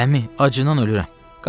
Əmi, acından ölürəm.